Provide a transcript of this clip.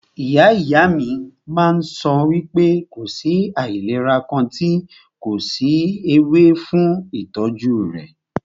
Ìyá ìyá mí máà ń sọ wípé kò sí àìlera kàn tí kò sí ewé fún ìtọ́jú rẹ̀.